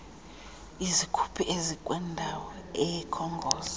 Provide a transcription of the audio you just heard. izikhuphi ezikwindawo ekhongoza